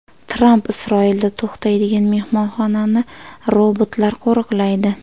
Tramp Isroilda to‘xtaydigan mehmonxonani robotlar qo‘riqlaydi.